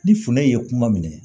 Ni funɛ ye kuma minɛ